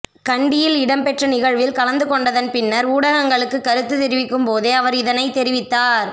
கண்டியில் இடம்பெற்ற நிகழ்வில் கலந்து கொண்டதன் பின்னர் ஊடகங்களுக்கு கருத்து தெரிவிக்கும் போதே அவர் இதனை தெரிவித்தார்